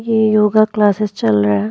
ये योगा क्लासेस चल रह --